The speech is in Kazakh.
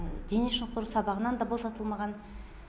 дене шынықтыру сабағынан да босатылмаған